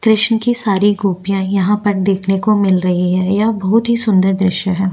कृष्ण की सारी गोपियाँ यहाँ पर देखने को मिल रही है यह बहुत ही सुन्दर दृश्य है।